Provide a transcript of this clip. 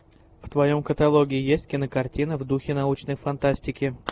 в твоем каталоге есть кинокартина в духе научной фантастики